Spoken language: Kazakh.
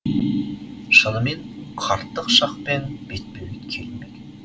шынымен қарттық шақпен бетпе бет келу ме екен